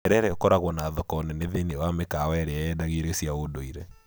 Terere ũkoragwo na thoko nene thĩiniĩ wa mĩkawa ĩrĩa yendagia irio cia ndũire.